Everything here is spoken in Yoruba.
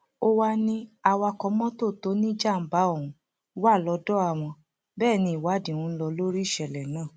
ó wàá ní awakọ mọtò tó níjàmbá ọhún wà lọdọ àwọn bẹẹ ni ìwádìí ń lò lórí ìṣẹlẹ náà